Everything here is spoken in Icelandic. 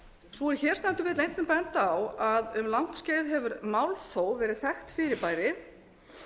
sú er hér stendur vill einnig benda á að um langt skeið hefur málþóf verið þekkt fyrirbæri